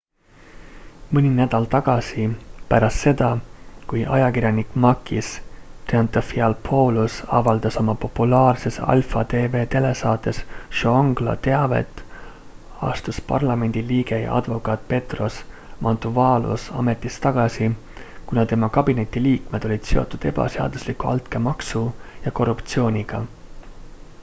mõni nädal tagasi pärast seda kui ajakirjanik makis triantafylopoulos avaldas oma populaarses alpha tv telesaates zoungla teavet astus parlamendi liige ja advokaat petros mantouvalos ametist tagasi kuna tema kabineti liikmed olid seotud ebaseadusliku altkäemaksu ja korruptsiooniga